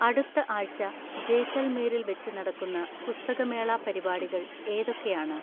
അടുത്ത ആഴ്ച്ച ജെയ്‌സല്മീരിൽ വെച്ച് നടക്കുന്ന പുസ്തകമേളാ പരിപാടികൾ ഏതൊക്കെയാണ്